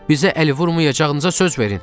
Bizə əl vurmayacağınıza söz verin.